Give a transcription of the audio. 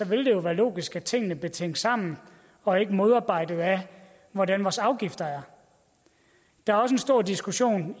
vil det jo være logisk at tingene bliver tænkt sammen og ikke modarbejdet af hvordan vores afgifter er der er også en stor diskussion